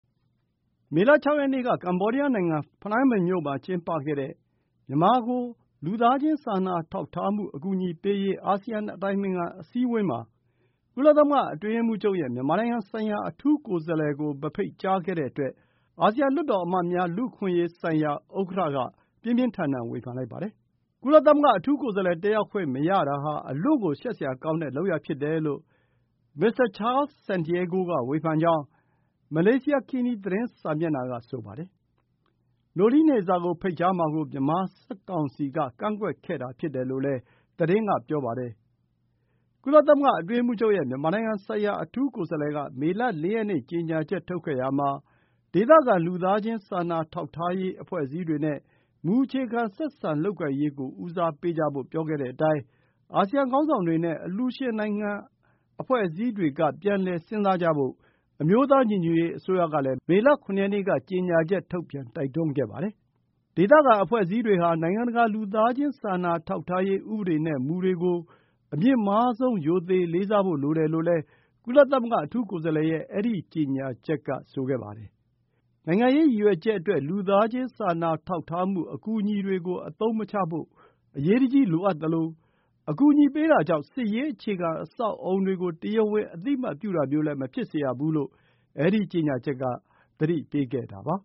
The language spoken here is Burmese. မေလ ၆ ရက်နေ့က ကမ္ဘောဒီးယားနိုင်ငံ ဖနွမ်းပင်မြို့မှာ ကျင်းပတဲ့ မြန်မာကို လူသားချင်း စာနာထောက်ထားမှု အကူအညီပေးရေး အာဆီယံအတိုင်ပင်ခံ အစည်းအဝေးမှာ ကုလသမဂ္ဂ အတွင်းရေးမှူးချုပ်ရဲ့ မြန်မာနိုင်ငံဆိုင်ရာ အထူးကိုယ်စားလှယ်ကို မဖိတ်ကြားခဲ့တဲ့အတွက် အာဆီယံ လွှတ်တော်အမတ်များ လူ့အခွင့်အရေးဆိုင်ရာ ဥက္ကဋ္ဌ Charles Santiago က ပြင်းပြင်းထန်ထန် ဝေဖန်လိုက်ပါတယ်။ ကုလသမဂ္ဂ အထူးကိုယ်စားလှယ် တက်ရောက်ခွင့်မရတာဟာ အလွန့်ကို ရှက်စရာကောင်းတဲ့လုပ်ရပ် ဖြစ်တယ်လို့ မစ္စတာ Charles Santiago က ဝေဖန်ကြောင်း Malaysiakini သတင်းစာမျက်နှာက ဆိုပါတယ်။ Noeleen Heyzar ကို ဖိတ်ကြားမှာကို မြန်မာစစ်ကောင်စီက ကန့်ကွက်ခဲ့တာဖြစ်တယ်လို့လည်း သတင်းက ပြောပါတယ်။ ကုလသမဂ္ဂ အတွင်းရေးမှူးချုပ်ရဲ့ မြန်မာနိုင်ငံဆိုင်ရာ အထူးကိုယ်စားလှယ်က မေလ ၄ ရက်နေ့ ကြေညာချက်ထုတ်ခဲ့ရာမှာ ဒေသခံ လူသားချင်းစာနာထောက်ထားရေး အဖွဲ့အစည်းတွေနဲ့ မူအခြေခံ ဆက်ဆံလုပ်ကိုင်ရေးကို ဦးစားပေးကြဖို့ ပြောခဲ့တဲ့အတိုင်း အာဆီယံ ခေါင်းဆောင်တွေနဲ့ အလှူရှင်နိုင်ငံတွေ၊ အဖွဲ့အအစည်းတွေက ပြန်လည်စဉ်းစားကြဖို့ အမျိုးသားညီညွတ်ရေးအစိုးရကလည်း မေလ ၇ ရက်နေ့က ကြေညာချက်ထုတ်ပြန် တိုက်တွန်းလိုက်ပါတယ်။ ဒေသခံ အဖွဲ့အစည်းတွေဟာ နိုင်ငံတကာ လူသားချင်းစာနာထောက်ထားရေး ဥပဒေနဲ့ မူတွေကို အမြင့်မားဆုံး ရိုသေလေးစားဖို့ လိုတယ်လို့လည်း ကုလသမဂ္ဂ အထူးကိုယ်စားလှယ်ရဲ့ အဲဒီကြေညာချက်က ဆိုပါတယ်။ နိုင်ငံရေးရည်ရွယ်ချက်အတွက် လူသားချင်းစာနာထောက်ထားမှု အကူအညီတွေကို အသုံးမချဖို့ အရေးတကြီး လိုအပ်သလို အကူအညီပေးတာကြောင့် စစ်ရေး အခြေခံအဆောက်အအုံတွေကို တရားဝင် အသိအမှတ်ပြုတာမျိုးလည်း မဖြစ်စေရဘူးလို့ အဲဒီကြေညာချက်က သတိပေးခဲ့ပါ